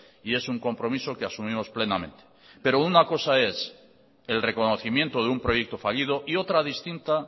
y es un compromiso que asumimos plenamente pero una cosa es el reconocimiento de un proyecto fallido y otra distinta